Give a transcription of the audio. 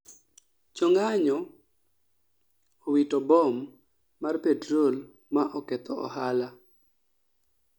jo ng'anyo owito bom mar petrol ma oketho ohala